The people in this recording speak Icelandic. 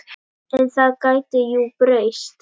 En það gæti jú breyst!